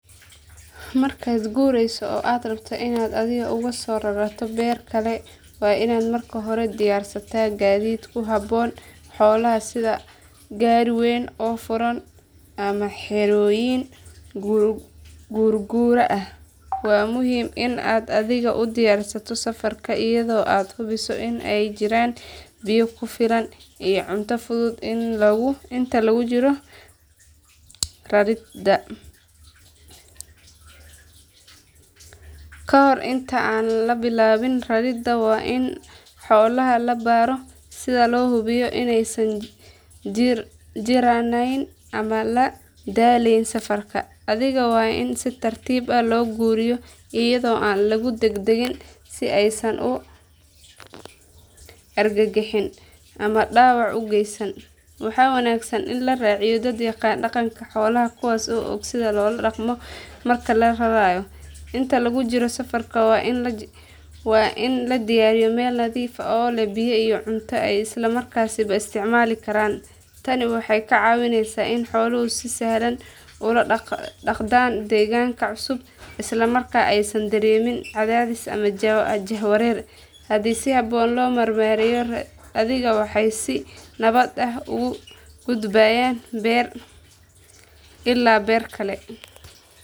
Markaad guurayso oo aad rabto inaad adhiga uga soo rarato beer kale waa inaad marka hore diyaarsataa gaadiid ku habboon xoolaha sida gaari weyn oo furan ama xerooyin guurguura ah. Waa muhiim in aad adhiga u diyaarsato safarka iyadoo aad hubiso in ay jiraan biyo ku filan iyo cunto fudud inta lagu jiro raridda. Ka hor inta aan la bilaabin raridda waa in xoolaha la baaro si loo hubiyo inaysan jirranayn ama la daalayn safarka. Adhiga waa in si tartiib ah loo guuriyo iyadoo aan lagu degdegin si aysan u argagixin ama dhaawac u geysan. Waxaa wanaagsan in la raaciyo dad yaqaan dhaqanka xoolaha kuwaas oo og sida loola dhaqmo marka la rarayo. Inta lagu jiro safarka waa in la joogteeyo nasashada si adhigu uga nastaan safarka dheer. Marka la gaaro beerta cusub waa in loo diyaariyo meel nadiif ah oo leh biyo iyo cunto ay isla markiiba isticmaali karaan. Tani waxay ka caawineysaa in xooluhu si sahlan ula qabsadaan deegaanka cusub isla markaana aysan dareemin cadaadis ama jahwareer. Haddii si habboon loo maareeyo raridda adhiga waxay si nabad ah uga gudbayaan beer ilaa beer kale.